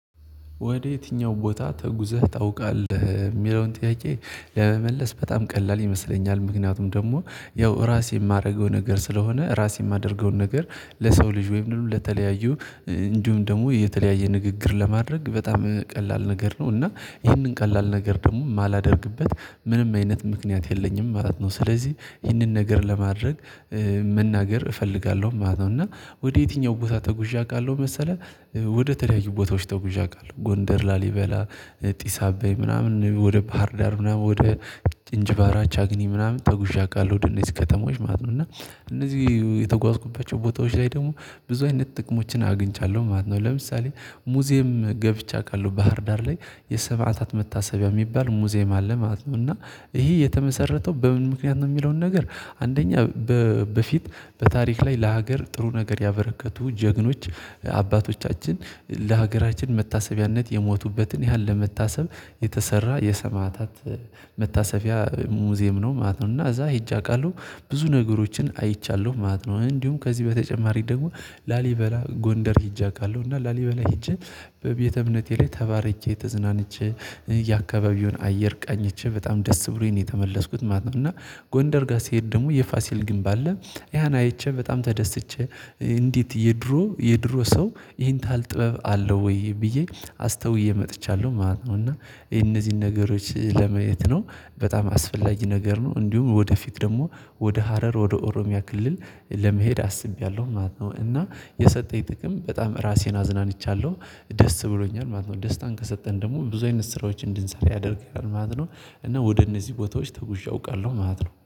ወደ የትኛው ቦታ ተጉዘህ ታውቃለህ? የሚለውን ጥያቄ ለመመለስ በጣም ቀላል ይመስለኛል። ምክንያቱም ደግሞ ያው ራሴ የማደርገው ነገር ስለሆነ ራሴ የማደርገውን ነገር ለሰው ልጅ ወይም ለተለያዩ እንዲሁም ደግሞ የተለያየ ንግግር ለማድረግ በጣም ቀላል ነገር ነው እና ይህንን ቀላል ነገር ደግሞ እማላደርግበት ምንም አይነት ምክንያት የለኝም ማለት ነው። ስለዚህ ይህንን ነገር ለማድረግ መናገር እፈልጋለሁ ማለት ነው። እና ወደ የትኛው ቦታ ተጉዠ አውቃለሁ መሰለህ? ወደ ተለያዩ ቦታዎች ተጉዠ አውቃለሁ ጎንደር ላሊበላ ጢስ አባይ ምናምን ወደ ባህርዳር ምናምን ወደ እንጅባራ ቻግኒ ምናምን ተጉዠ አውቃለሁ ወደነዚህ ከተሞች ማለት ነው። እና እነዚህ የተጓዝኩባቸው ቦታዎች ላይ ደግሞ ብዙ አይነት ጥቅሞችን አግኝቻለሁ ማለት ነው። ለምሳሌ ሙዚየም ገብቻ አውቃለሁ ባህርዳር ላይ የሰማዕታት መታሰቢያ እሚባል ሙዚየም አለ ማለት ነው። እና ይሄ የተመሰረተው በምን ምክንያት ነው? እሚለውን ነገር አንደኛ በፊት በታሪክ ላይ ለሀገር ጥሩ ነገር ያበረከቱ ጀግኖች አባቶቻችን ለሀገራችን መታሰቢያነት የሞቱበትን ያህል ለመታሰብ የተሰራ የሰማዕታት መታሰቢያ ሙዚየም ነው ማለት ነው። እና እዛ ሄጄ አውቃለሁ ብዙ ነገሮችን አይቻለሁ ማለት ነው። እንዲሁም ከዚህ በተጨማሪ ደግሞ ላሊበላ ጎንደር ሄጄ አውቃለው እና ላሊበላ ሄጄ በቤተ እምነቴ ላይ ተባርኬ ተዝናንቸ የአካባቢውን አየር ቃኝቸ በጣም ደስ ብሎኝ ነው የተመለስኩት ማለት ነው። እና ጎንደር ጋር ስሄድ ደግሞ የፋሲል ግንብ አለ። ያን አየቸ በጣም ተደስቼ እንዴት የድሮ የድሮ ሰው ይሄን ታህል ጥበብ አለው ወይ? ብዬ አስተውዬ መጥቻለሁ ማለት ነው። እና የነዚህን ነገሮች ለማየት ነው በጣም አስፈላጊ ነገር ነው። እንዲሁም ወደፊት ደግሞ ወደ ሀረር ወደ ኦሮሚያ ክልል ለመሄድ አስቤያለሁ ማለት ነው። እና የሰጠኝ ጥቅም በጣም ራሴን አዝናንቻለሁ ደስ ብሎኛል ማለት ነው። ደስታን ከሰጠን ደግሞ ብዙ አይነት ስራዎች እንድንሰራ ያደርግናል ማለት ነው። እና ወደ እነዚህ ቦታዎች ተጉዤ አውቃለሁ ማለት ነው